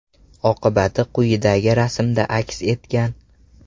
Oqibati quyidagi rasmda aks etgan.